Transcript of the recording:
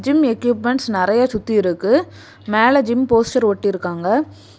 Gym equipments நெறைய சுத்தி இருக்கு மேல ஜிம் போஸ்டர் ஒட்டி இருக்காங்க.